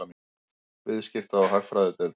Viðskipta- og hagfræðideild.